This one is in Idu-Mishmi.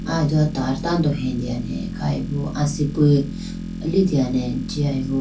Aye dowa tar tando hetene khayibo asipu litene jiyayibo.